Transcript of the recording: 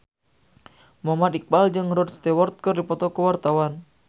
Muhammad Iqbal jeung Rod Stewart keur dipoto ku wartawan